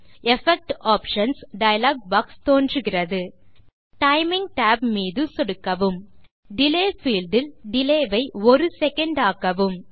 effect options dialog box தோன்றுகிறது timing tab மீது சொடுக்கவும் டிலே பீல்ட் இல் டிலே ஐ 10 செக் ஆக்கவும்